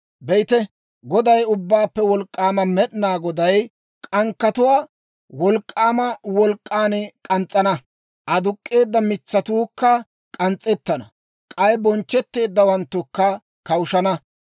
Be'ite, Goday, Ubbaappe Wolk'k'aama Med'inaa Goday k'ankkatuwaa wolk'k'aama wolk'k'an k'ans's'ana; aduk'k'eedda mitsatuukka k'ans's'ettana; k'ay bonchchetteeddawanttukka kawushshana.